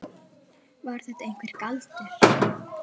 Var þetta einhver galdur?